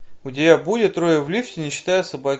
у тебя будет трое в лифте не считая собаки